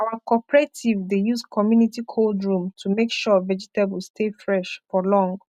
our cooperative dey use community cold room to make sure vegetable stay fresh for long